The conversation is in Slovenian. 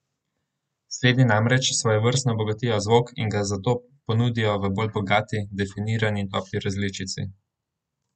Slednje namreč svojevrstno obogatijo zvok in ga zato ponudijo v bolj bogati, definirani in topli različici.